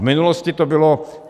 V minulosti to bylo...